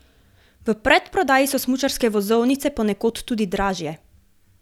V predprodaji so smučarske vozovnice, ponekod tudi dražje.